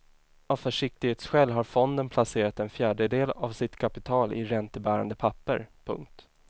Av försiktighetsskäl har fonden placerat en fjärdedel av sitt kapital i räntebärande papper. punkt